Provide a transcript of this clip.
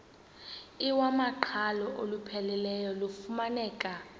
iwamaqhalo olupheleleyo lufumaneka